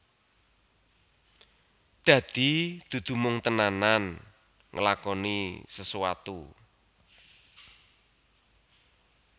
Dadi dudu mung tenanan nglakoni sesuatu